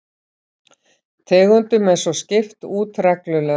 Tegundum er svo skipt út reglulega